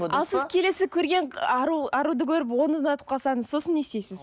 ал сіз келесі көрген ару аруды көріп оны ұнатып қалсаңыз сосын не істейсіз